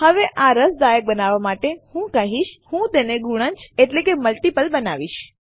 હવે આ રસદાયક બનાવવા માટે હું શું કરીશ હું તેને ગુણજ એટલે કે મલ્ટિપલ બનાવીશ